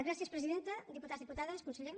gràcies presidenta diputats diputades conseller